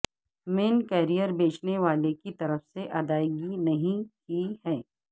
مین carrier بیچنے والے کی طرف سے ادائیگی نہیں کی ہے